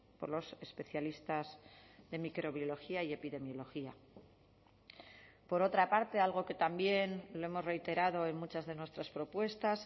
por los especialistas de microbiología y epidemiología por otra parte algo que también lo hemos reiterado en muchas de nuestras propuestas